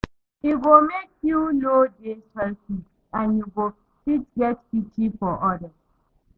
E go mek yu no dey selfish and yu go fit get pity for odas